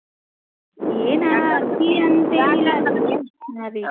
ಏನ ಅತೀ ಅನ್ತೇನ್ ಇಲ್ಲಾರೀ ಹಾ ರೀ.